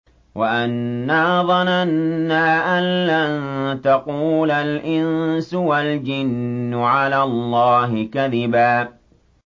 وَأَنَّا ظَنَنَّا أَن لَّن تَقُولَ الْإِنسُ وَالْجِنُّ عَلَى اللَّهِ كَذِبًا